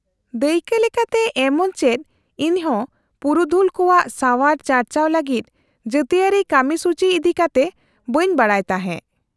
-ᱫᱟᱹᱭᱠᱟᱹ ᱞᱮᱠᱟᱛᱮ, ᱮᱢᱚᱱᱪᱮᱫ ᱤᱧᱦᱚᱸ ᱯᱩᱨᱩᱫᱷᱩᱞ ᱠᱚᱣᱟᱜ ᱥᱟᱣᱟᱨ ᱪᱟᱨᱪᱟᱣ ᱞᱟᱹᱜᱤᱫ ᱡᱟᱹᱛᱤᱣᱟᱹᱨᱤ ᱠᱟᱹᱢᱤᱥᱩᱪᱤ ᱤᱫᱤᱠᱟᱛᱮ ᱵᱟᱹᱧ ᱵᱟᱰᱟᱭ ᱛᱟᱦᱮᱸ ᱾